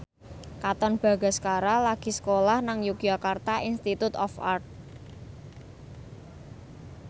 Katon Bagaskara lagi sekolah nang Yogyakarta Institute of Art